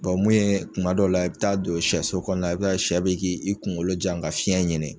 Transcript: mun ye kuma dɔ la i bɛ taa don shɛso kɔnɔna i shɛ bɛ k'i kungolo jan ka fiyɛn ɲini.